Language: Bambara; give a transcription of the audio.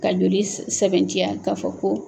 Ka joli sɛbɛntiya k'a fɔ ko